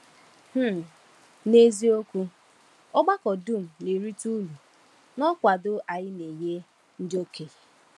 um N’eziokwu, ọgbakọ dum na-erite uru n’ọkwado anyị na-enye ndị okenye.